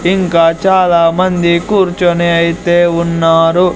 ఇంకా చాలామంది కూర్చునే అయితే ఉన్నారు.